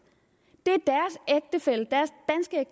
det